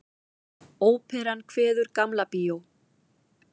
Óperan kveður Gamla bíó